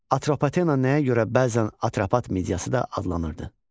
Atropatena nəyə görə bəzən Atropat Mediyası da adlanırdı?